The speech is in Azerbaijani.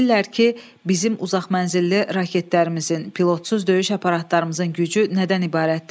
Bilirlər ki, bizim uzaqmənzilli raketlərimizin, pilotsuz döyüş aparatlarımızın gücü nədən ibarətdir.